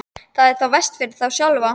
Það er þá verst fyrir þá sjálfa.